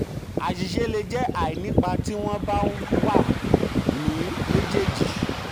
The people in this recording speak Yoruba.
àṣìṣe le jẹ́ àìnípa tí wọ́n bá wà ní méjèèjì.